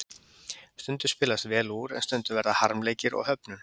Stundum spilast vel úr, en stundum verða harmleikir og höfnun.